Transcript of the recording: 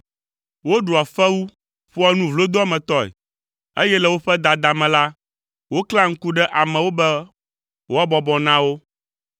Woɖua fewu, ƒoa nu vlodoametɔe, eye le woƒe dada me la, woklẽa ŋku ɖe amewo be woabɔbɔ na wo.